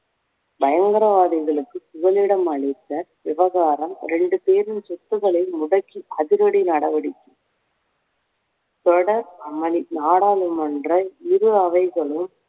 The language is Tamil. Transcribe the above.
பயங்கரவாதிகளுக்கு புகலிடம் அளித்த விவகாரம் இரண்டு பேரின் சொத்துக்களை முடக்கி அதிரடி நடவடிக்கை தொடர் அமளி நாடாளுமன்ற இரு அவைகளும்